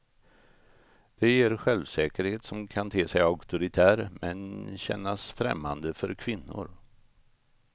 Det ger en självsäkerhet som kan te sig auktoritär, men kännas främmande för kvinnor.